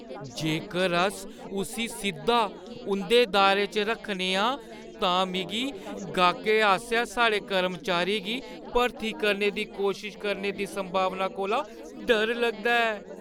जेकर अस उस्सी सिद्धा उंʼदे दायरे च रक्खने आं तां मिगी गाह्कै आसेआ साढ़े कर्मचारी गी भर्ती करने दी कोशश करने दी संभावना कोला डर लगदा ऐ ।